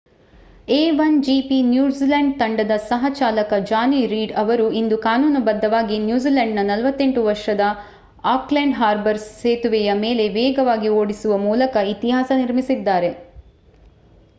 a1gp New Zealand ತಂಡದ ಸಹ-ಚಾಲಕ Jonny Reid ಅವರು ಇಂದು ಕಾನೂನುಬದ್ಧವಾಗಿ ನ್ಯೂಜಿಲೆಂಡ್‌ನ 48 ವರ್ಷದ ಆಕ್ಲೆಂಡ್ ಹಾರ್ಬರ್ ಸೇತುವೆಯ ಮೇಲೆ ವೇಗವಾಗಿ ಓಡಿಸುವ ಮೂಲಕ ಇತಿಹಾಸ ನಿರ್ಮಿಸಿದ್ದಾರೆ